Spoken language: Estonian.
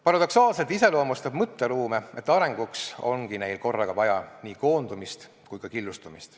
Paradoksaalselt iseloomustab mõtteruume see, et arenguks ongi neil korraga vaja nii koondumist kui ka killustumist.